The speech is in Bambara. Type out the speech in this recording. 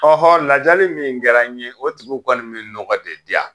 Ɔhɔ lajali min kɛra n ye o tigiw kɔni bi nɔgɔ de diyan